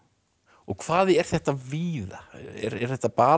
hvað er þetta víða er þetta bara